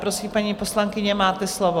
Prosím, paní poslankyně, máte slovo.